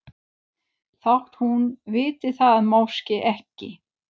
Þótt hún viti það máske ekki.